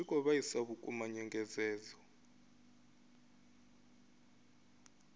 zwi khou vhaisa vhukuma nyengedzedzo